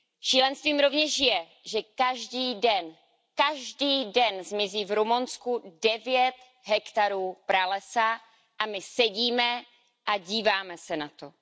Šílenstvím rovněž je, že každý den, každý den zmizí v Rumunsku devět hektarů pralesa a my sedíme a díváme se na to.